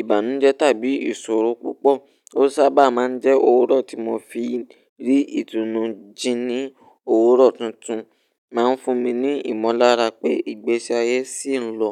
ìbànújẹ́ tàbí ìṣòro púpọ̀, ó sábà máa ń jẹ́ òwúrọ̀ tí mo fi rí ìtùnú. Jí ní òwúrọ̀ tuntun máa ń fún mi ní ìmọ̀lára pé ìgbésí ayé ṣì ń lọ.